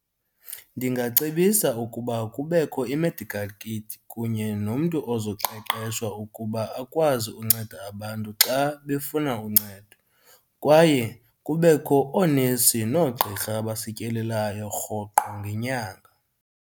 Ndingacebisa ukuba kubekho i-medical kit kunye nomntu ozoqeqeshwa ukuba akwazi unceda abantu xa befuna uncedo, kwaye kubekho oonesi noogqirha abasityelelayo rhoqo ngenyanga.